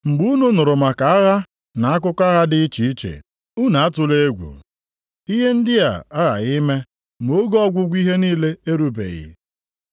Mgbe unu nụrụ maka agha na akụkọ agha dị iche iche, unu atụla egwu. Ihe ndị a aghaghị ime ma oge ọgwụgwụ ihe niile erubeghị.